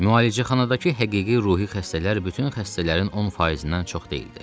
Müalicəxanadakı həqiqi ruhi xəstələr bütün xəstələrin 10 faizindən çox deyildi.